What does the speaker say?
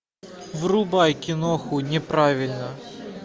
врубай киноху неправильно